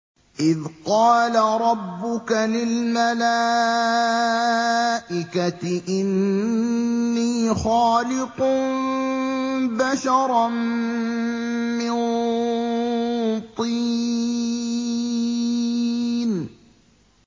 إِذْ قَالَ رَبُّكَ لِلْمَلَائِكَةِ إِنِّي خَالِقٌ بَشَرًا مِّن طِينٍ